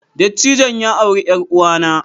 Dattijon ya auri yar uwanna